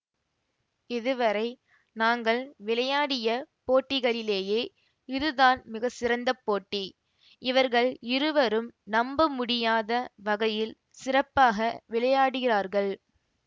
இதுவரை நாங்கள் விளையாடிய போட்டிகளிலேயே இதுதான் மிகச்சிறந்த போட்டி இவர்கள் இருவரும் நம்ப முடியாத வகையில் சிறப்பாக விளையாடுகிறார்கள்